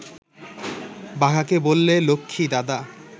বাঘাকে বললে, লক্ষ্মী, দাদা